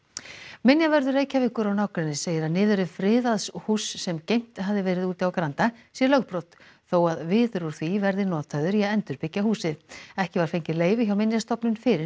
minjavörður Reykjavíkur og nágrennis segir að niðurrif friðaðs húss sem geymt hafði verið úti á Granda sé lögbrot þó að viður úr því verði notaður í að endurbyggja húsið ekki var fengið leyfi hjá Minjastofnun fyrir